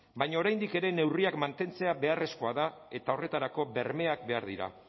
baina oraindik ere neurriak mantentzea beharrezkoa da eta horretarako bermeak behar dira